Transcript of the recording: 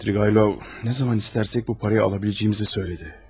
Svidriqaylov nə zaman istərsək bu parayı ala biləcəyimizi söylədi.